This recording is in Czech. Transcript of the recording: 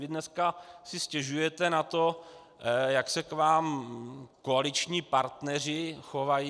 Vy dneska si stěžujete na to, jak se k vám koaliční partneři chovají.